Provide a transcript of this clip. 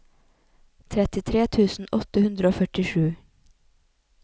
trettitre tusen åtte hundre og førtisju